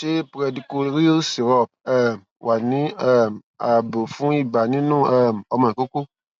ṣé pedicloryl syrup um wà ní um ààbò fún ibà nínú um ọmọ ìkókó